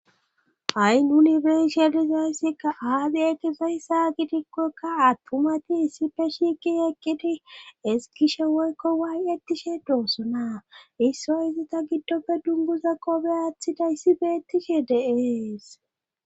Ha7i nunibershalizayssikka aadi7etizayssa gidikkokka attumati issife shiiqi eqqidi eskishe woykko waay7ettishe doossona issoy izita giddoppe dunguza qobe aathida issi beettishe de'ees